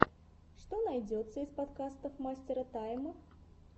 что найдется из подкастов мастера тайм